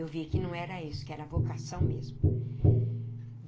Eu vi que não era isso, que era vocação mesmo.